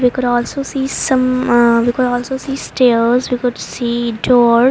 we could also see some ah we could also see stairs we could see door.